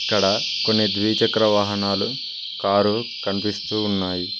ఇక్కడ కొన్ని ద్వీచక్ర వాహనాలు కారు కనిపిస్తూ ఉన్నాయి.